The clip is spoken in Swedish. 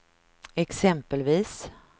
exempelvis